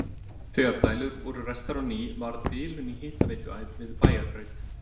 Þegar dælur voru ræstar á ný varð bilun í hitaveituæð við Bæjarbraut.